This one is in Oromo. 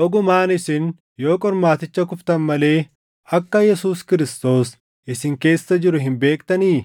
Dhugumaan isin yoo qormaaticha kuftan malee akka Yesuus Kiristoos isin keessa jiru hin beektanii?